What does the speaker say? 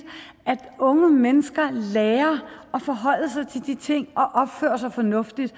at unge mennesker lærer at forholde sig til de ting og opføre sig fornuftigt